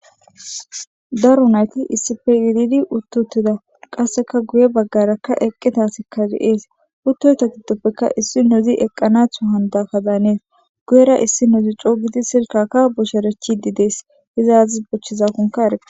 daro nayti issife yididi uttuttida qasseka guye baggarakka eqqitasikka ge7ees uttoyta giddoppeka issi nozi eqqanatho handaka daanees guyera issi nuzi coogidi silkakka bosherechi di dees izaazis bochchizakonka erka